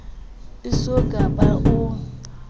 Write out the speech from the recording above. e so ka ba o